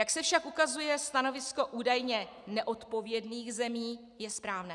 Jak se však ukazuje, stanovisko údajně neodpovědných zemí je správné.